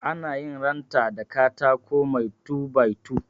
Anayin ranta da katako mai two by two.